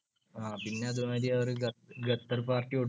അതുമാതിരി ഗ~ ഗത്തർ party കൊടുന്നിരുന്നു.